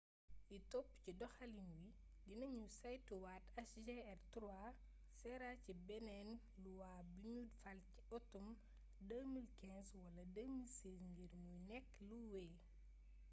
li topp ci doxaliin wi dina ñu saytuwaat hjr-3 sera ci beneen luwa buñu fal ci atum 2015 wala 2016 ngir mu nekk luy wey